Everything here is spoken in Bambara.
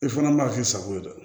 I fana ma k'i sago ye dɛ